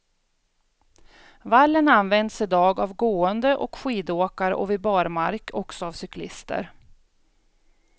Vallen används idag av gående och skidåkare och vid barmark också av cyklister.